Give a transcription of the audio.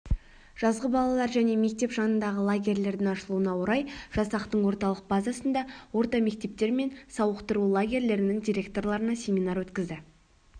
жазғы балалар және мектеп жанындағы лагерлердің ашылуына орай жасақтың орталық базасында орта мектептер мен сауықтыру лагерлерінің директорларына семинар өткізді